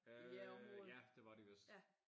Øh ja det var de vist